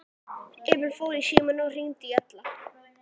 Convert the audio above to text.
Emil fór í símann og hringdi í Alla.